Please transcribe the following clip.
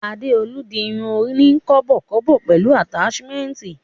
Adeolu n di irun oni kọ́bọ̀kọ́bọ̀ pẹlu ataṣimẹnti.